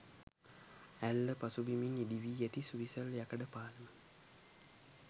ඇල්ල පසුබිමින් ඉදිවී ඇති සුවිසල් යකඩ පාලම